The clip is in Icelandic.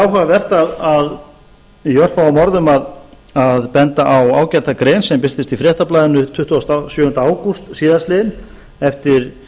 áhugavert í örfáum orðum að benda á ágæta grein sem birtist í fréttablaðinu tuttugasta og sjöunda ágúst síðastliðinn eftir